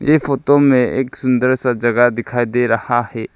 ये फोटो में एक सुंदर सा जगह दिखाई दे रहा है।